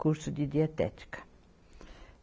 Curso de dietética.